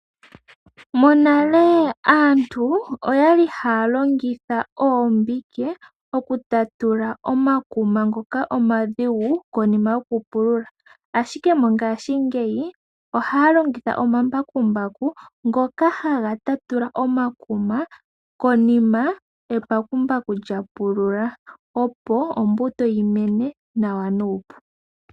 Monale aantu oya li haya longitha oombike okutatula omakuma ngoka omadhigu konima yokupulula, ashike mongashingeyi ohaya longitha omambakumbaku ngoka haga tatula omakuma konima embakumbaku lyapulula opo ombuto yimene nuupu.